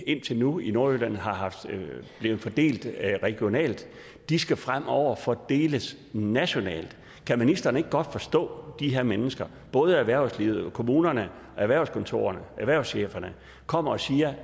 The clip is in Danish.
indtil nu i nordjylland har fordelt regionalt skal fremover fordeles nationalt kan ministeren ikke godt forstå de her mennesker både erhvervslivet kommunerne erhvervskontorerne erhvervscheferne kommer og siger